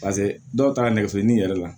Paseke dɔw taara nɛgɛso ɲini yɛrɛ la